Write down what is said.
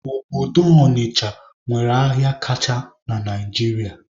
Obodo Ọnịcha nwere ahịa kacha na Naijiria